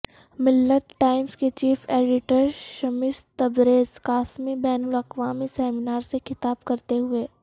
ملت ٹائمز کے chief editor شمس تبریز قاسمی بین لاقوامی seminar سے خطاب کرتے ہوئے